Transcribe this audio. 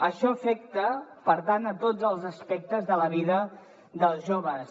això afecta per tant tots els aspectes de la vida dels joves